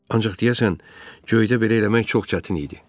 Ancaq deyəsən göydə belə eləmək çox çətin idi.